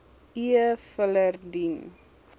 e filer dien